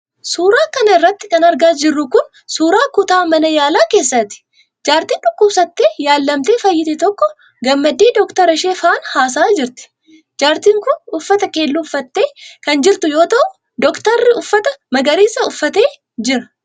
Suura kana irratti kan argaa jirru kun, suura kutaa mana yaalaa keessaati. Jaartiin dhukkubsattee yaalamtee fayyite tokko gammaddee doktara ishee faana haasa'aa jirti. Jaartiin kun uffata keelloo uffattee kan jirtu yoo ta'u doktorri uffata magariisa uffattee jirti.